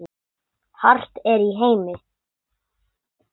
hart er í heimi